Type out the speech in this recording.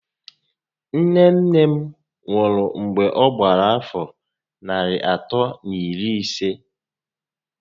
Nne nne m nwụ̀rụ̀ mgbè ọ gbàrà àfọ́ narị àtọ́ na iri isé